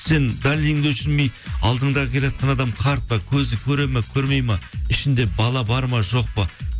сен дальныйыңды өшірмей алдыңда келеатқан адам қарт па көзі көреді ме көрмейді ме ішінде бала бар ма жоқ па